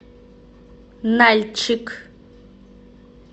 нальчик